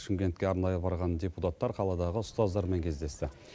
шымкентке арнайы барған депутаттар қаладағы ұстаздармен кездесті